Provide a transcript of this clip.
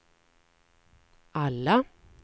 alla